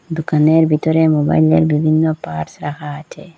দুকানের বিতরে মোবাইলের বিভিন্ন পার্টস রাখা আচে।